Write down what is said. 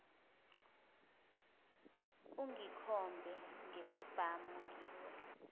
ungikhombe ngesibhamu ngiwuye